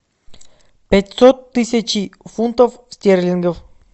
пятьсот тысяч фунтов стерлингов